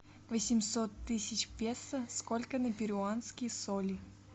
восемьсот тысяч песо сколько на перуанские соли